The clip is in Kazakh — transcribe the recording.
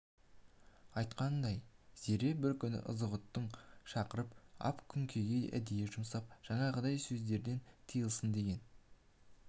айтқанындай зере бір күні ызғұттыны шақырып ап күнкеге әдейі жұмсап жаңағыдай сөздерден тыйылсын деген